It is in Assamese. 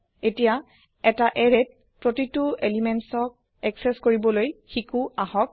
এতিয়া এটা এৰেয়ত প্ৰতিটো পদাৰ্থক একচেস কৰিবলৈ শিকো আহক